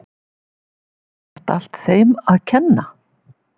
Kristján Már Unnarsson: Er þetta allt þeim að kenna?